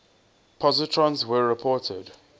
positrons were reported